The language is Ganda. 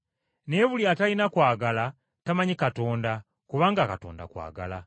Naye buli atalina kwagala tamanyi Katonda, kubanga Katonda kwagala.